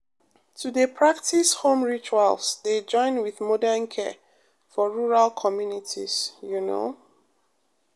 to dey practice home rituals dey join with modern care for rural communities you know pause